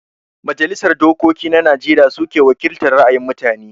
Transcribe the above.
Majalisar Dokoki na Najeriya suke wakiltar ra'ayin mutane